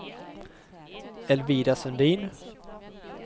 Elvira Sundin